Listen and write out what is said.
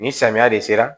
Nin samiya de sera